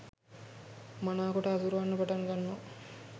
මනාකොට හසුරුවන්න පටන් ගන්නවා.